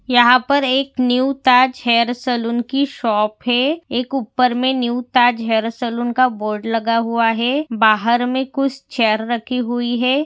यहा पर एक न्यू ताज हैयर सलून की शॉप है एक उपर मे न्यू ताज हैयर सलून का बोर्ड लगा हुआ है बाहर मे कुछ चैर रखी हुई है।